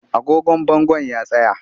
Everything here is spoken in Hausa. Agogon bangon ya tsaya